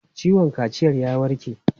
Ciwon kaciyan ya warke?